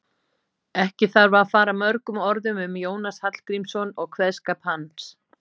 ekki þarf að fara mörgum orðum um jónas hallgrímsson og kveðskap hans